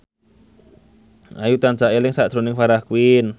Ayu tansah eling sakjroning Farah Quinn